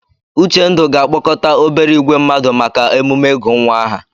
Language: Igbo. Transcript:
Uchendu ga-akpọkọta obere ìgwè mmadụ maka emume ịgụ nwa aha.